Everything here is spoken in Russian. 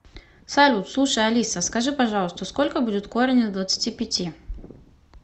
салют слушай алиса скажи пожалуйста сколько будет корень из двадцати пяти